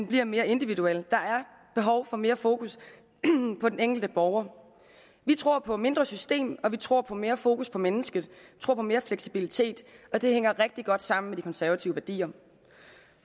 bliver mere individuel der er behov for mere fokus på den enkelte borger vi tror på mindre system og vi tror på mere fokus på mennesket vi tror på mere fleksibilitet og det hænger rigtig godt sammen med de konservative værdier